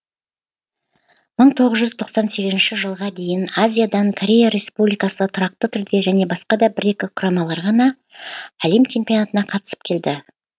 мың тоғыз жүз тоқсан сегізінші жылға дейін азиядан корея республикасы тұрақты түрде және басқа да бір екі құрамалар ғана әлем чемпионатына қатысып келді